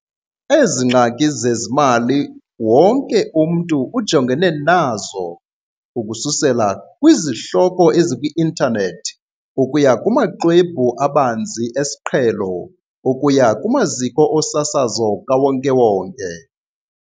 Ezi ngxaki zezezimali wonke umntu ujongene nazo, ukususela kwizihloko eziku-intanethi ukuya kumaxhwebhu abanzi esiqhelo ukuya kumaziko osasazo kawonke-wonke.